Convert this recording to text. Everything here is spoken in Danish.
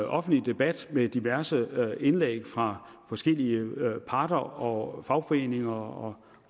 offentlig debat med diverse indlæg fra forskellige parter og fagforeninger og